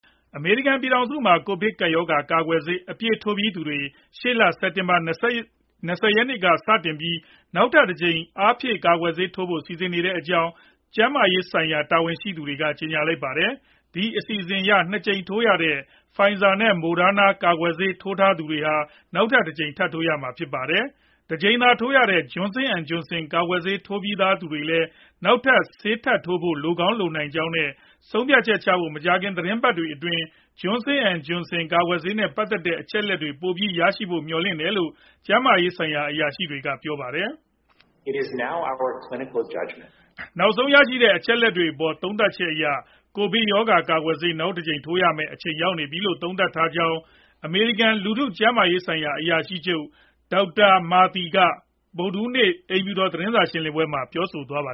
အမေရိကန် ပြည်ထောင်စုမှာ ကိုဗစ်ကပ်ရောဂါ ကာကွယ်ဆေး အပြည့်ထိုးပြီးသူတွေ ရှေ့လ စက်တင်ဘာ ၂ဝရက်ကစတင်ပြီး နောက်ထပ်တကြိမ် အားဖြည့်ကာကွယ်ဆေး ထိုးဖို့ စီစဉ်နေတဲ့အကြောင်း ကျန်းမာရေးဆိုင်ရာ တာဝန်ရှိသူတွေက ကြေညာလိုက်ပါတယ်။ ဒီအစီအစဉ်အရ ၂ ကြိမ်ထိုးရတဲ့ Pfizerနဲ့ Moderna ကာကွယ်ဆေးထိုးထားသူတွေဟာ နောက်ထပ်တကြိမ် ထပ်ထိုးရမှာဖြစ်ပါတယ်။ တကြိမ်တည်းသာ ထိုးရတဲ့ Johnson & Johnson ကာကွယ်ဆေးထိုးထားပြီးသားသူတွေလည်း နောက်ထပ် ဆေးထပ်ထိုးဖို့ လိုကောင်းလိုနိုင်ကြောင်းနဲ့ ဆုံးဖြတ်ချက်ဖို့ မကြာခင် သီတင်းပတ်တွေအတွင်း Johnson & Johnson ကာကွယ်ဆေးနဲ့ ပတ်သက်တဲ့ အချက်အလက်တွေ ပိုပြီးရဖို့ မျှော်လင့်ထားတယ်လို့ ကျန်းမာရေးဆိုင်ရာ အရာရှိတွေက ပြောပါတယ်။ နောက်ဆုံး ရရှိတဲ့ အချက်အလက်တွေအပေါ် သုံးသပ်ချက်အရ ကိုဗစ်ရောဂါ ကာကွယ်ဆေး နောက်တကြိမ်ထိုးရမယ့် အချိန်ရောက်ပြီလို့ သုံးသပ်ထားကြောင်းအမေရိကန် လူထုကျန်းမာရေးဆိုင်ရာ အရာရှိချုပ် Dr Vivek Murthy က ဗုဒ္ဓဟူးနေ့ အိမ်ဖြူတော် သတင်းစာ ရှင်းလင်းပွဲမှာ ပြောသွားတာပါ